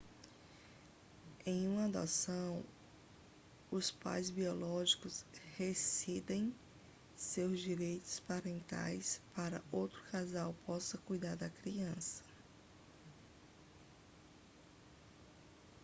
em uma adoção os pais biológicos rescindem seus direitos parentais para que outro casal possa cuidar da criança